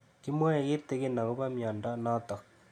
Kimwae kitig'in akopo miondo notok